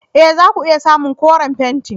E! za ku iya samun koren fenti.